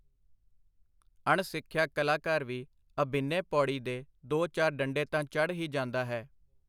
ਅਣਸਿਖਿਆ ਕਲਾਕਾਰ ਵੀ ਅਭਿਨੇ-ਪੌੜੀ ਦੇ ਦੋ ਚਾਰ ਡੰਡੇ ਤਾਂ ਚੜ੍ਹ ਹੀ ਜਾਂਦਾ ਹੈ.